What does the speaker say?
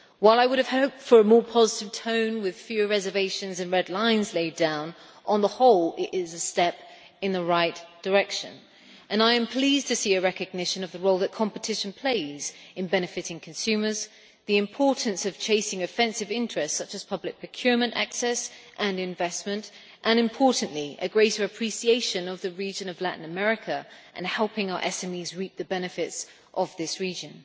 While I would have hoped for a more positive tone with fewer reservations and red lines laid down, on the whole it is a step in the right direction and I am pleased to see a recognition of the role that competition plays in benefiting consumers, the importance of chasing offensive interests such as public procurement access and investment, and, importantly, a greater appreciation of the region of Latin America and helping our SMEs reap the benefits of this region.